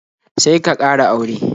Sai ka ƙara aure